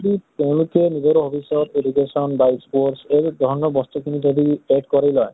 যদি তেওঁলোকে নিজৰ hobbies ত education বা sports এই ধৰণৰ বস্তু খিনি যদি add কৰি লয়।